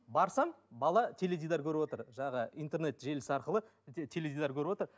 барсам бала теледидар көріп отыр жаңағы интернет желісі арқылы теледидар көріп отыр